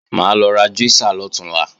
Mà á lọ ra júísà lọ̀túnla